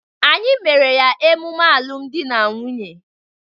Anyị mere ya emume alụmdi na nwunye.